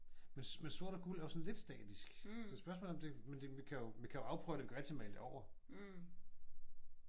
Men sort og guld er sådan lidt statisk. Så spørgsmålet er om det men det vi kan jo vi kan jo afprøve det. Vi kan jo altid male det over